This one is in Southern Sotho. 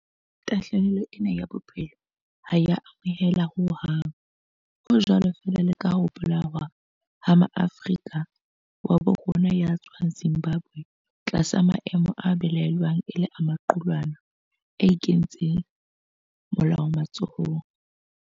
Tahlehelo ena ya bophelo ha e a amoheleha ho hang, ho jwalo feela le ka ho bolawa ha Moafrika wa habo rona ya tswang Zimbabwe tlasa maemo a belaellwang e le a maqulwana a inketseng molao matsohong.